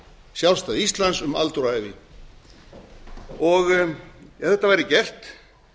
sjálfstæði íslands um aldur og ævi ef þetta væri gert